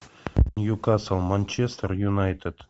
ньюкасл манчестер юнайтед